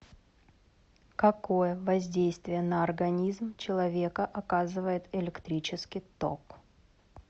какое воздействие на организм человека оказывает электрический ток